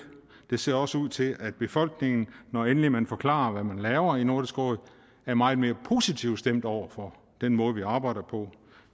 det ser også ud til at befolkningen når endelig man forklarer hvad man laver i nordisk råd er meget mere positivt stemt over for den måde vi arbejder på